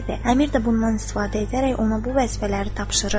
Əmir də bundan istifadə edərək ona bu vəzifələri tapşırır.